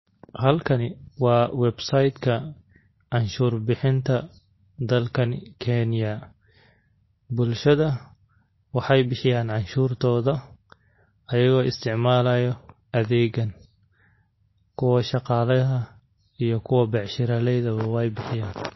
Halkani waa website ka canshuur bixinta dalkan Kenya. Bulshada waxay bixiyaan canshuurtoda ayagoo isticmaalayo adeegan, kuwa shakale aha iyo kuwa biashiraleyda buu way bixiyaan.